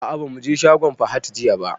A'a ba mu je shagon Fahad jiya ba.